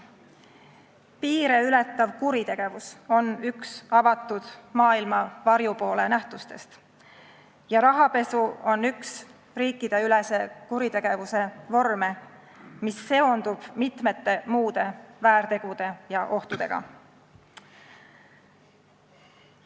Piire ületav kuritegevus on üks avatud maailma varjupoole nähtustest ja rahapesu on üks riikideülese kuritegevuse vorme, mis seondub mitmete muude väärtegude ja ohtudega.